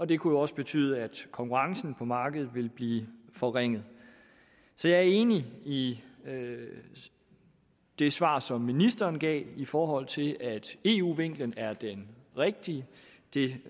det kunne jo også betyde at konkurrencen på markedet ville blive forringet så jeg er enig i det svar som ministeren gav i forhold til at eu vinklen er den rigtige det